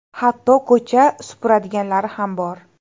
Hatto ko‘cha supuradiganlari ham bor.